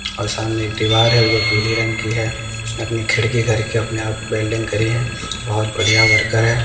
और सामने एक दीवार है जो पीले रंग की है उसने अपनी खड़की करके अपने आप वेल्डिंग करी है बहोत बढ़िया वर्कर है।